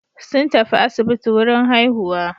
Sun tafi asibiti wurin haihuwa.